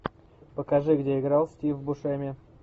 покажи где играл стив бушеми